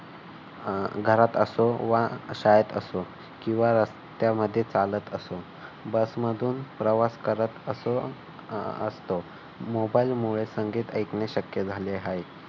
अह घरात असो वा शाळेत असो किंवा रस्त्यामध्ये चालत असो. बस मधून प्रवास करत असो असतो मोबाईल मध्ये संगीत ऐकणे शक्य झाले आहे.